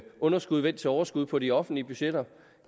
underskud vendt til overskud på de offentlige budgetter